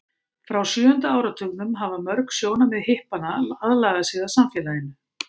frá sjöunda áratugnum hafa mörg sjónarmið hippanna aðlagað sig að samfélaginu